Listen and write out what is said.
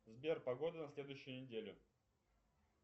сбер погода на следующую неделю